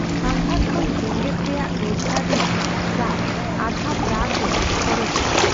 ᱥᱟᱸᱜᱷᱟᱨ ᱠᱷᱚᱱ ᱡᱮᱜᱮᱫ ᱨᱮᱭᱟᱜ ᱨᱳᱡᱜᱟᱨ ᱨᱮᱭᱟᱜ ᱯᱨᱟᱭ ᱟᱫᱷᱟ ᱯᱨᱟᱜ ᱨᱮ ᱠᱷᱚᱨᱚᱪᱚᱜᱼᱟ ᱾